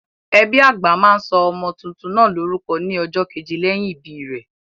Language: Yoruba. Ẹbí àgbà máa sọ ọmọ tuntun náà lórúkọ ní ọjọ́ keje lẹ́yìn ìbí rẹ̀.